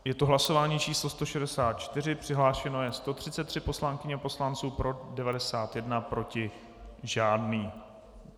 Je to hlasování číslo 164, přihlášeno je 133 poslankyň a poslanců, pro 91, proti žádný.